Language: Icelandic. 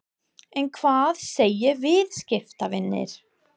En hvað segja viðskiptavinir?